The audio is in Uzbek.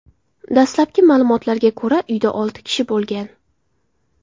Dastlabki ma’lumotlarga ko‘ra, uyda olti kishi bo‘lgan.